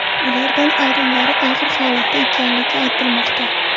Ulardan ayrimlari og‘ir holatda ekanligi aytilmoqda.